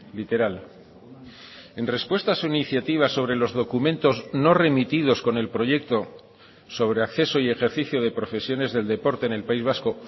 literal en respuesta a su iniciativa sobre los documentos no remitidos con el proyecto sobre acceso y ejercicio de profesiones del deporte en el país vasco